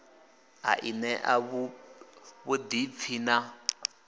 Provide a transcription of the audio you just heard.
a i ṋea vhuḓipfi na